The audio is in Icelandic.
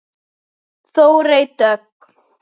Þórey Dögg.